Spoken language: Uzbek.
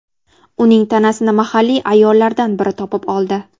Uning tanasini mahalliy ayollardan biri topib oldi.